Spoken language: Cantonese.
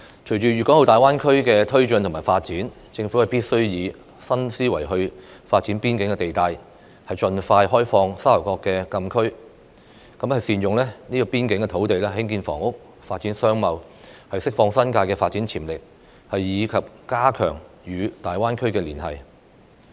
隨着粵港澳大灣區的發展，政府必須以新思維發展邊境地帶；盡快開放沙頭角禁區；善用邊境土地興建房屋、發展商貿；釋放新界的發展潛力；以及加強與大灣區的連繫。